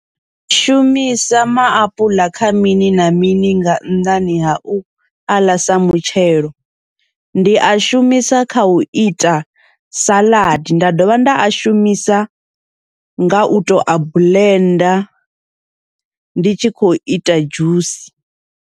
Ni shumisa maapuḽa kha mini na mini nga nnḓani ha u aḽa sa mutshelo, ndi a shumisa kha uita saḽadi nda dovha nda a shumisa nga uto a buḽenda ndi tshi khou ita dzhusi.